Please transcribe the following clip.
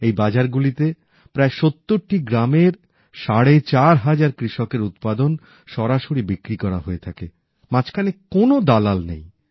এই বাজারগুলিতে প্রায় সত্তরটি গ্রামের সাড়ে চার হাজার কৃষকের উৎপাদন সরাসরি বিক্রি করা হয়ে থাকে মাঝখানে কোন দালাল নেই